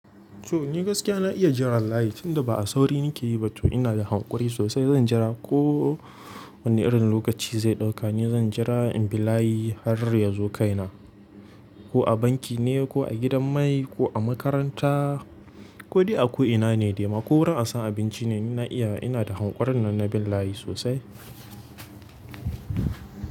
To ni gaskiya na iya jira wallahi tun da ba a sauri nike yi ba to ina da hankuri sosai. Zan jira ko wani irin lokaci zai ɗauka ni zan jira in bi layi har ya zo kai na. Ko a banki ne ko a gidan mai ko a makaranta ko dai a ko'ina ne dai ma ko wurin an san abinci ne. Ni na iya ina da hankurin nan na bin layi sosai.